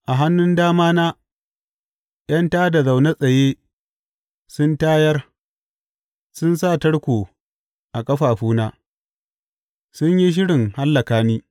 A hannun damana ’yan tā da na zaune tsaye sun tayar; sun sa tarko a ƙafafuna, sun yi shirin hallaka ni.